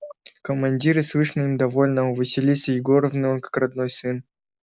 командиры слышно им довольны а у василисы егоровны он как родной сын